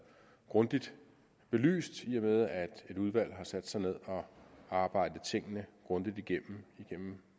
grundigt belyst i og med at et udvalg har sat sig ned og arbejdet tingene grundigt igennem igennem